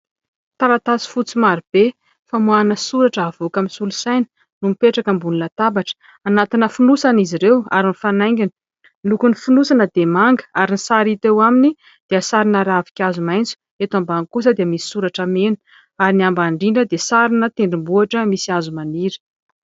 Taratasy fotsy marobe famoahana soratra avoakan'ny solosaina no mipetraka ambony latabatra anaty fonosana izy ireo ary mifanaingina. Lokon'ny fonosana dia manga ary ny sary hita eo aminy dia sarina ravinkazo maintso eto ambany kosa dia misy soratra mena ary ny ambany indrindra dia sarina tendrombohitra misy hazo maniry